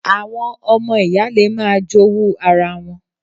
Àwọn ọmọ ìyá le máa jowú ara wọn